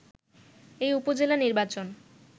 এই উপজেলা নির্বাচন